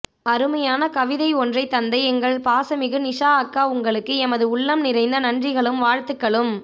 அருமையான கவிதை ஒன்றைத் தந்த எங்கள் பாசமிகு நிஷா அக்கா உங்களுக்கு எமது உள்ளம் நிறைந்த நன்றிகளும் வாழ்த்துக்களும்